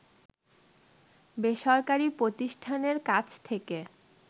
বেসরকারি প্রতিষ্ঠানের কাছ থেকে